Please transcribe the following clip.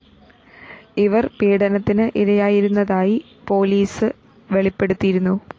ഇവര്‍ പീഡനത്തിന് ഇരയായിരുന്നതായി പോലീസ് വെളിപ്പെടുത്തിയിരുന്നു